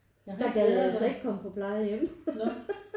Der gad jeg altså ikke komme på plejehjem